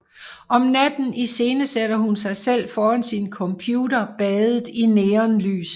Om natten iscenesætter hun sig selv foran sin computer badet i neonlys